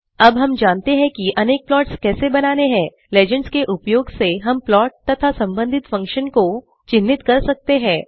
अब हम जानते हैं कि अनेक प्लॉट्स कैसे बनाने हैं लीजेंड्स के उपयोग से हम प्लॉट तथा सम्बंधित फंक्शन को चिन्हित कर सकते है